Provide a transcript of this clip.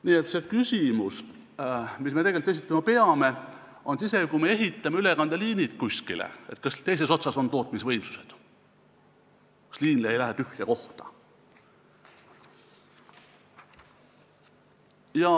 Nii et küsimus, mille me tegelikult esitama peame, on see, et isegi kui me ehitame kuskile ülekandeliinid, kas siis teises otsas on olemas tootmisvõimsused, kas liin ei lähe tühja kohta.